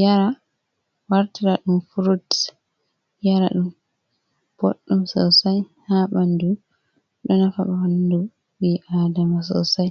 yara wartira ɗum furut yara ɗum boɗɗum sosai haa ɓanndu, ɗo nafa ɓanndu ɓii aadama soosai.